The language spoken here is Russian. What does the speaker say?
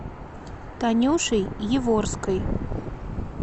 танюшей яворской